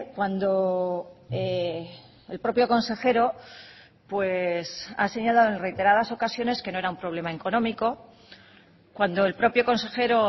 cuando el propio consejero pues ha señalado en reiteradas ocasiones que no era un problema económico cuando el propio consejero